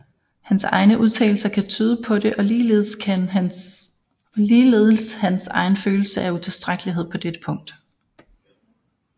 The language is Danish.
Hans egne udtalelser kan tyde på det og ligeledes hans egen følelse af utilstrækkelighed på dette punkt